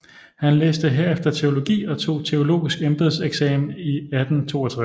Han læste herefter teologi og tog teologisk embedseksamen i 1862